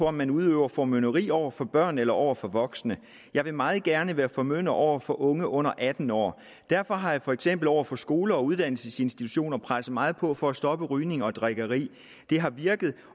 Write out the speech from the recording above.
om man udøver formynderi over for børn eller over for voksne jeg vil meget gerne være formynder over for unge under atten år derfor har jeg for eksempel over for skoler og uddannelsesinstitutioner presset meget på for at stoppe rygning og drikkeri det har virket